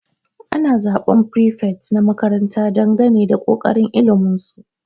Ana zaban prefet na makaranta dangane da kokarin ilimin su.